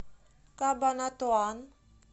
кабанатуан